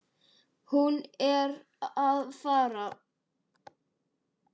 Hún er að fara.